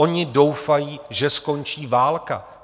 Oni doufají, že skončí válka!